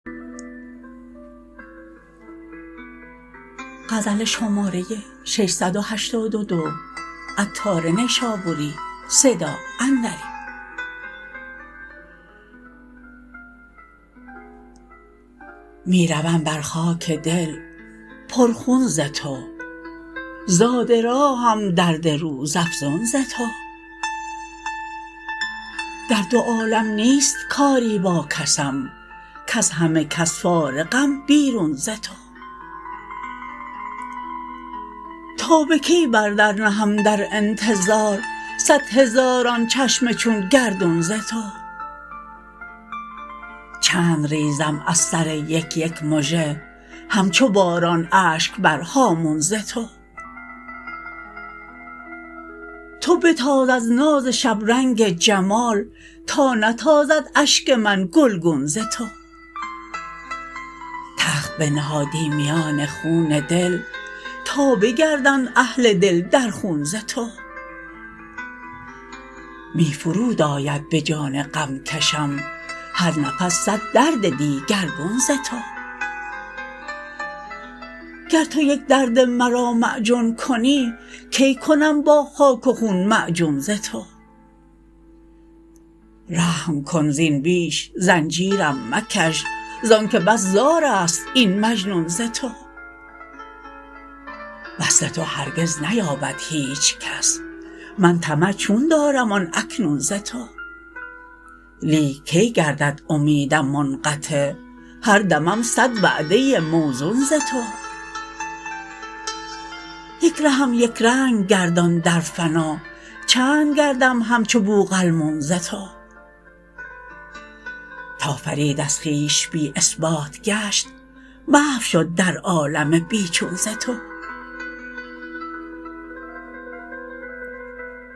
می روم بر خاک دل پر خون ز تو زاد راهم درد روزافزون ز تو در دو عالم نیست کاری با کسم کز همه کس فارغم بیرون ز تو تا به کی بر در نهم درانتظار صد هزاران چشم چون گردون ز تو چند ریزم از سر یک یک مژه همچو باران اشک بر هامون ز تو تو بتاز از ناز شبرنگ جمال تا نتازد اشک من گلگون ز تو تخت بنهادی میان خون دل تا بگردند اهل دل در خون ز تو می فرود آید به جان غمکشم هر نفس صد درد دیگرگون ز تو گر تو یک درد مرا معجون کنی کی کنم با خاک و خون معجون ز تو رحم کن زین بیش زنجیرم مکش زانکه بس زار است این مجنون ز تو وصل تو هرگز نیابد هیچکس من طمع چون دارم آن اکنون ز تو لیک کی گردد امیدم منقطع هر دمم صد وعده موزون ز تو یک رهم یکرنگ گردان در فنا چند گردم همچو بوقلمون ز تو تا فرید از خویش بی اثبات گشت محو شد در عالم بیچون ز تو